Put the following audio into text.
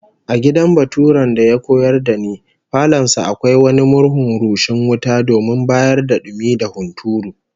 A gidan baturen da ya koyar da ni, falon sa akwai wani murhun rushing wuta domin bayar da dumi da hunturu